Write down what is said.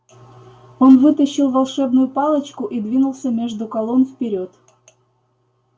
он вытащил волшебную палочку и двинулся между колонн вперёд